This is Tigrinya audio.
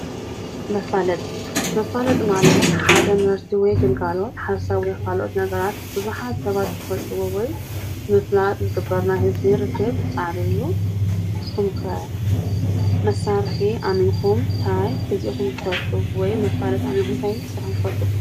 መፋለጢ፡- መፋለጢ ማለት ሓደ ምህርቲ ወይ ግልጋሎት ሓሰብ ንካልኦት ነገራት ቡዙሓት ሰባት ክፈልጥዎ ወይ ምፍላጥ ዝግብርዎ ናይ ህዝቢ ርክብ ፃዕሪ እዩ፡፡ ንስኹም ኸ መሳርሒ ኣሚንኹም እንታይ ገዚእኹም ትፈልጡ? ወይ መፋሊ ኣሚንኹም እንታይ ሰሪሕኹም ትፈልጡ?